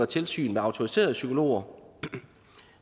tilsyn med autoriserede psykologer